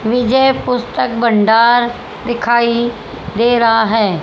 विजय पुस्तक भंडार दिखाई दे रहा है।